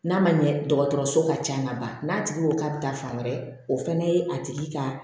N'a ma ɲɛ dɔgɔtɔrɔso ka ca ka ban n'a tigi ko k'a bɛ taa fan wɛrɛ o fana ye a tigi ka